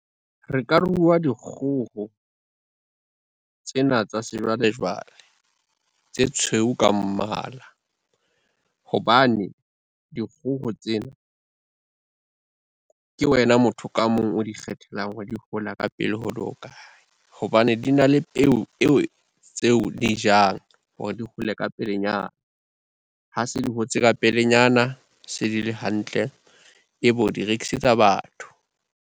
Re ka ruwa dikgoho, tsena tsa sejwalejwale tse tshweu ka mmala, hobane dikgoho tsena, ke wena motho ka mong o dikgethelang hore di hola ka pele ho le hokae, hobane di na le peo tseo di jang hore di hole ka pelenyana. Ha se di hotse ka pelenyana, se di le hantle ebe o di rekisetsa batho.